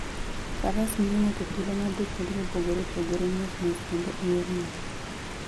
Faras miyo ng'ato thuolo mar dhi kuonde mopogore opogore mos mos kendo e yor mor.